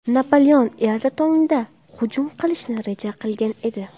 Napoleon erta tongda hujum qilishni reja qilgan edi.